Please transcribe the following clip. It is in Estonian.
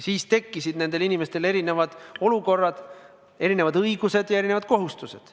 Siis tekkisid nendel inimestel erinevad olukorrad, erinevad õigused ja erinevad kohustused.